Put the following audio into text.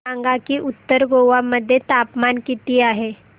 सांगा की उत्तर गोवा मध्ये तापमान किती आहे